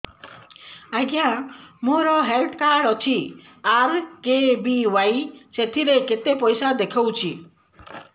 ଆଜ୍ଞା ମୋର health card ଅଛି ଆର୍.କେ.ବି.ୱାଇ ସେଥିରେ କେତେ ପଇସା ଦେଖଉଛି